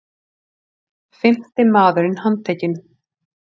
Fimmti maðurinn handtekinn